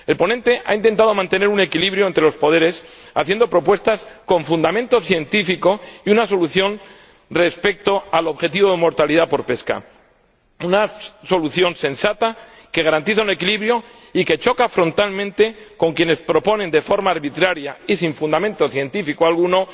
El ponente ha intentado mantener un equilibrio entre los poderes haciendo propuestas con fundamento científico y presentando una solución respecto al objetivo de mortalidad por pesca, una solución sensata que garantiza un equilibrio y que choca frontalmente con quienes proponen, de forma arbitraria y sin fundamento científico alguno,